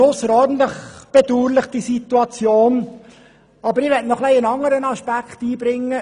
Nun möchte ich noch einen weiteren Aspekt einbringen.